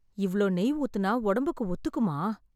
இவ்ளோ நெய் ஊத்துனா ஒடம்புக்கு ஒத்துக்குமா...